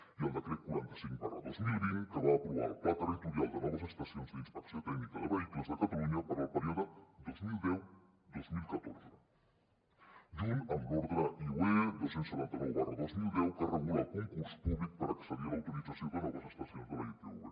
i el decret quaranta cinc dos mil vint que va aprovar el pla territorial de noves estacions d’inspecció tècnica de vehicles de catalunya per al període dos mil deu dos mil catorze junt amb l’ordre iue dos cents i setanta nou dos mil deu que regula el concurs públic per accedir a l’autorització de noves estacions de la itv